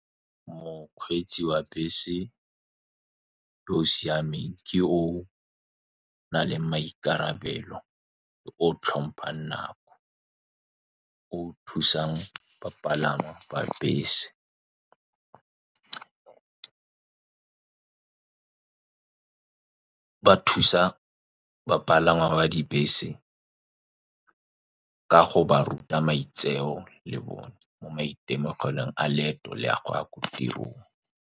Mokgweetsi wa bese yo o siameng ke o o nang le maikarabelo, o o tlhompang nako, o thusang bapalami ba bese. Ba thusa bapalangwa ba dibese ka go ba ruta maitseo le bone maitemogelong a leeto le a go ya ko tirong.